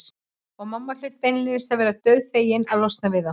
Og mamma hlaut beinlínis að vera dauðfegin að losna við þá.